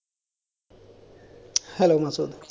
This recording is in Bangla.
Hello মাসুদ